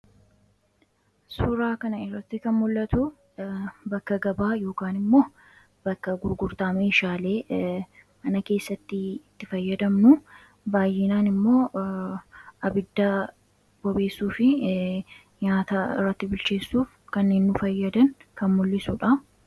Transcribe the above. suuraa kana irratti kan mul'atu bakka gabaa yookiin immoo bakka gurgurtaa meeshaalee mana keessatti itti fayyadamnu baayyinaan immoo abidda bobeessuu fi nyaata irratti bilcheessuuf kan nu fayyadan kan mul'isuudha.